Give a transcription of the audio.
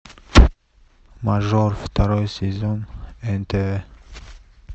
мажор второй сезон нтв